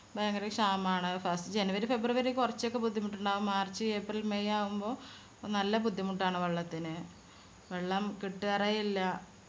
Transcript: ഭയങ്കര ക്ഷാമാണ് first january february കൊറച്ചൊക്കെ ബുദ്ധിമുട്ടുണ്ടാവും march april may ആവുമ്പൊ നല്ല ബുദ്ധിമുട്ടാണ് വെള്ളത്തിന്. വെള്ളം കിട്ടാറേ ഇല്ല.